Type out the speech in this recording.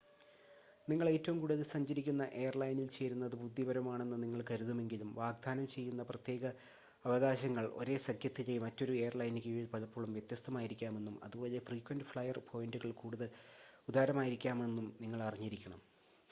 നിങ്ങൾ ഏറ്റവും കൂടുതൽ സഞ്ചരിക്കുന്ന എയർലൈനിൽ ചേരുന്നത് ബുദ്ധിപരമാണെന്ന് നിങ്ങൾ കരുതുമെങ്കിലും വാഗ്‌ദാനം ചെയ്യുന്ന പ്രത്യേക അവകാശങ്ങൾ ഒരേ സഖ്യത്തിലെ മറ്റൊരു എയർലൈനിന് കീഴിൽ പലപ്പോഴും വ്യത്യസ്ഥമായിരിക്കാമെന്നും അതുപോലെ ഫ്രീക്വൻ്റ് ഫ്ലയർ പോയിൻ്റുകൾ കൂടുതൽ ഉദാരമായിരിക്കാമെന്നും നിങ്ങൾ അറിഞ്ഞിരിക്കണം